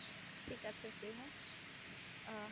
ঠিক আছে প্রিমো